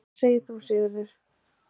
Hvað segir þú, Sigurður?